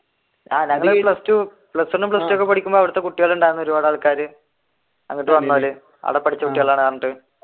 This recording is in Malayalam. ആഹ് ഞങ്ങൾ ഈ plus two, plus one, plus two ഒക്കെ പഠിക്കുമ്പോൾ അവിടത്തെ കുട്ടികളുണ്ടായിരുന്നു ഒരുപാട് ആൾക്കാർ